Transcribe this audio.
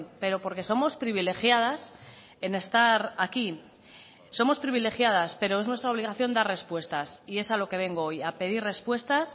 pero porque somos privilegiadas en estar aquí somos privilegiadas pero es nuestra obligación dar respuestas y es a lo que vengo hoy a pedir respuestas